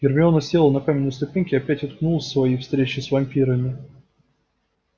гермиона села на каменные ступеньки и опять уткнулась в свои встречи с вампирами